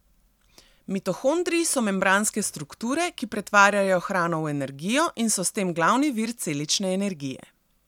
Mitohondriji so membranske strukture, ki pretvarjajo hrano v energijo in so s tem glavni vir celične energije.